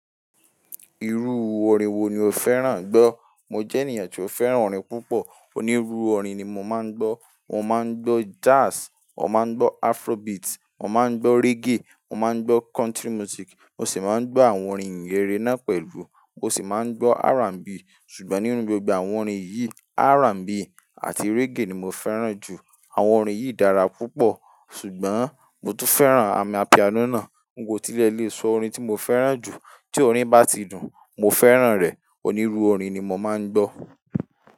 Irú orin wo ni o fẹ́ràn gbọ́? Mo jẹ́ ènìyàn tí ó fẹ́ràn orin púpọ̀. Onírúurú orin ni mo máa ń gbọ́. Mo máa ń gbọ́ jazz, mo máa ń gbọ́ Afrobeat, mo máa ń gbọ́ reggae, mo máa ń gbọ́ country music, mo sì máa ń gbọ́ àwọn orin ìhìnrere náà pẹ̀lú mo sì máa ń gbọ́ R&B. Ṣùgbọ́n nínú gbogbo àwọn orin yìí, R&B àti reggae ni mo fẹ́ràn jù. Àwọn orin yìí dára púpọ̀, ṣùgbọ́n mo tún fẹ́ràn amapiano náà. N kotilẹ̀ lè sọ orin tí mo fẹ́ràn jù, tí orin bá ti dùn, mo fẹ́ràn rẹ̀. Onírúu orin ni mo máa ń gbọ́.